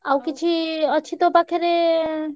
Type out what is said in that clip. ଆଉ କିଛି ଅଛି ତୋ ପାଖରେ?